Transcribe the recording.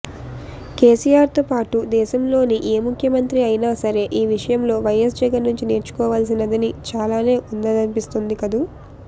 కేసీఆర్తోపాటు దేశంలోని ఏ ముఖ్యమంత్రి అయనా సరే ఈ విషయంలో వైఎస్ జగన్ నుంచి నేర్చుకోపాల్సినది చాలానే ఉందనిపిస్తోంది కదూ